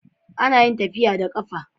Anayin tafiya da qafa